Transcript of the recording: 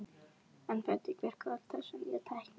En hvernig virkar öll þessi nýja tækni?